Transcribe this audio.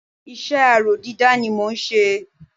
iṣẹ́ aró dídá ni mọ n ṣe